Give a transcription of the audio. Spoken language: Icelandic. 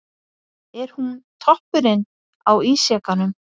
Er hún toppurinn á ísjakanum?